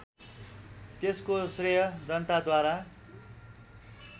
त्यसको श्रेय जनताद्वारा